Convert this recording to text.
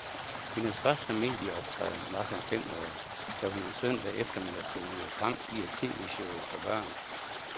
Hendes første medieoptræden var som femårig, da hun en søndag eftermiddag tonede frem i et tvshow for børn.